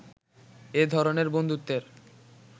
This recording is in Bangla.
এ ধরনের বন্ধুত্বের